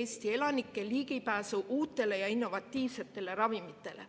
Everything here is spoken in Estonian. Eesti elanike ligipääsu uutele ja innovatiivsetele ravimitele.